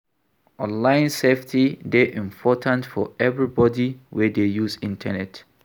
Online safety dey important for everybody wey dey use internet.